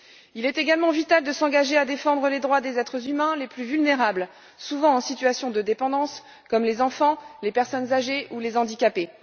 Il est également vital de s'engager à défendre les droits des êtres humains les plus vulnérables, souvent en situation de dépendance, comme les enfants, les personnes âgées ou les handicapés.